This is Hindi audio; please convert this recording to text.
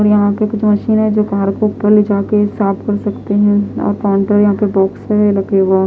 और यहाँ पर कुछ मशीन है जो पहाड़ के ऊपर ले जा के साफ कर सकती है और काउंटर यहाँ पर बॉक्स है लगे --